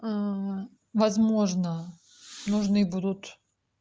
возможно нужны будут